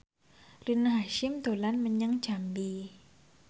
Rina Hasyim dolan menyang Jambi